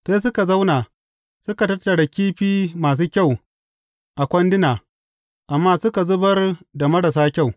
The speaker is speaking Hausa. Sai suka zauna suka tattara kifi masu kyau a kwanduna, amma suka zubar da marasa kyau.